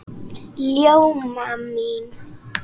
Ljóma mín!